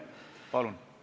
Palun!